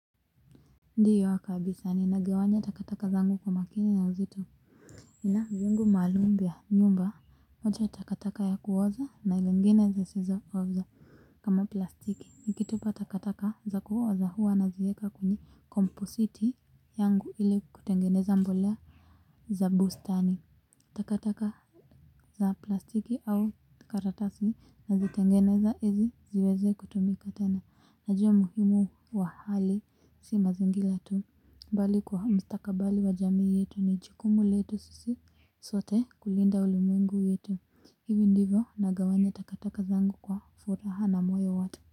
Ndiyo kabisa ninagawanya takataka zangu kwa makini na uzito nina vyungu maalum vya nyumba moja ya takataka ya kuoza na lingine zisizo oza kama plastiki nikitupa takataka za kuoza huwa nazieka kwenye kompositi yangu ili kutengeneza mbolea za bustani takataka za plastiki au karatasi nazitengeneza ili ziweze kutumika tena najua muhimu wa hali si mazingira tu. Mbali kwa mstakabali wa jamii yetu ni jukumu letu sisi sote kulinda ulimwengu wetu. Hivi ndivo nagawanya takataka zangu kwa furaha na moyo wote.